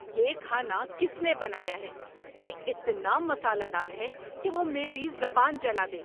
یہ کھانا کس نے بنایا ہے؟ یہ اتنا مسالہ دار ہے کہ وہ میری زبان جلا دے۔